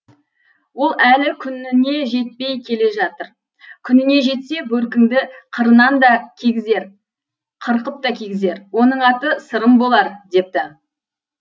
ол әлі күніне жетпей келе жатыр күніне жетсе бөркіңді қырынан да кигізер қырқып та кигізер оның аты сырым болар депті